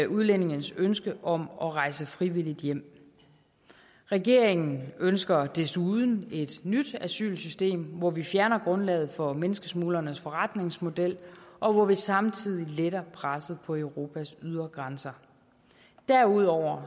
udlændinges ønske om at rejse frivilligt hjem regeringen ønsker desuden et nyt asylsystem hvor vi fjerner grundlaget for menneskesmuglernes forretningsmodel og hvor vi samtidig letter presset på europas ydre grænser derudover